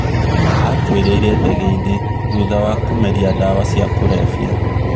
Aakuĩrĩire ndege-inĩa cia kũrebia thutha kũmeria ndawa cia kũrebia